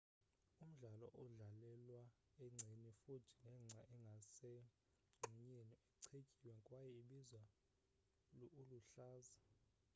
umdlalo udlalelwa engceni futhi nengca engase mgxunyeni ichetyiwe kwaye ibizwa uluhlaza